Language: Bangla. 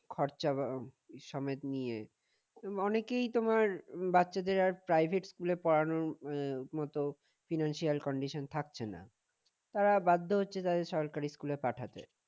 খরচা সমেত নিয়ে অনেকেই তোমার বাচ্চাদের আর private school এ পড়ানোর মতো financial condition থাকছে না তারা বাধ্য হচ্ছে তাদেরকে সরকারি স্কুলে পাঠাতে